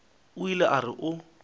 o ile a re o